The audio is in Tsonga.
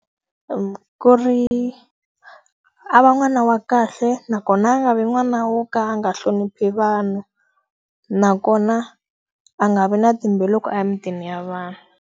Ku ri a va n'wana wa kahle nakona a nga vi n'wana wo ka a nga hloniphi vanhu. Nakona a nga vi na timbilu loko a ya emitini ya vanhu.